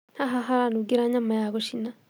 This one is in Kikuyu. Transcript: Haha haranungĩra nyama ya gũcina